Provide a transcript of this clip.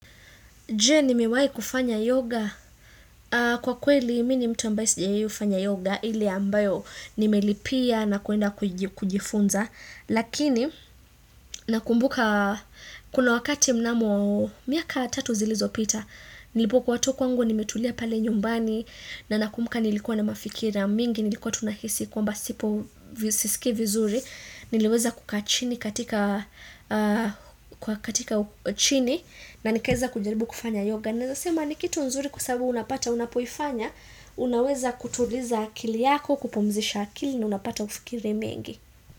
Je ni mewai kufanya yoga kwa kweli mini mtu ambaye sijawai fanya yoga ile ambayo ni melipia na kuenda kujifunza lakini nakumbuka kuna wakati mnamo miaka tatu zilizopita nilipokuwa tu kwangu nimetulia pale nyumbani na nakumbuka nilikuwa na mafikira mingi nilikuwa tunahisi kwa mba sipo sisiki vizuri niliweza kukaa chini katika kwa katika chini na nikaeza kujaribu kufanya yoga Naeza sema ni kitu nzuri kwa sababu unapata unapoifanya Unaweza kutuliza akili yako kupumzisha akili na unapata ufikiri mengi.